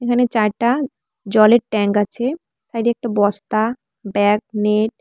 এখানে চারটা জলের ট্যাঙ্ক আছে সাইডে একটা বস্তা ব্যাগ নেট --